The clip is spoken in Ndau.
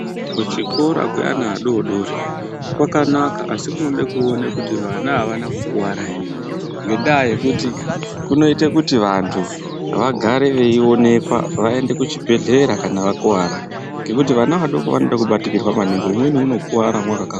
Kuchikora kweana adori-dori kwakanaka asi kunode kuone kuti vana havana kukuara ere, ngendaa yekuti kunoite kuti vantu vagare veionekwa, vaende kuchibhedhlera kana vakuvara, ngekuti vana vadoko vanoda kubatikirwa maningi umweni unokuwara mwakagara.